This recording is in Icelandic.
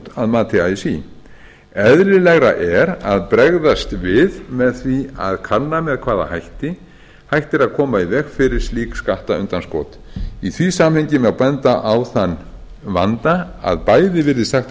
ekki þungt að mati así eðlilegra er að bregðast við með því að kanna með hvaða hætti hægt er að koma í veg fyrir slík skattundanskot í því samhengi má benda á að þann vanda að bæði virðist hægt að